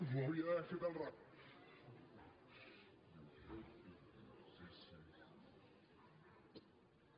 ho hauria d’haver fet al revés